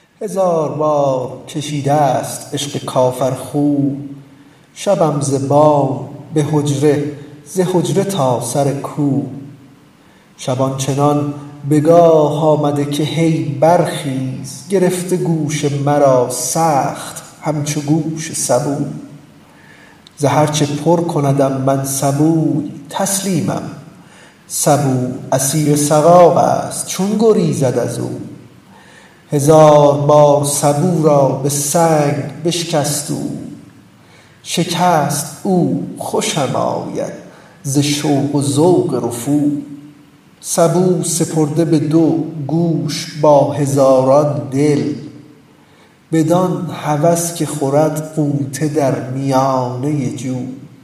هزار بار کشیده ست عشق کافرخو شبم ز بام به حجره ز حجره تا سر کو شب آن چنان به گاه آمده که هی برخیز گرفته گوش مرا سخت همچو گوش سبو ز هر چه پر کندم من سبوی تسلیمم سبو اسیر سقایست چون گریزد از او هزار بار سبو را به سنگ بشکست او شکست او خوشم آید ز شوق و ذوق رفو سبو سپرده بدو گوش با هزاران دل بدان هوس که خورد غوطه در میانه جو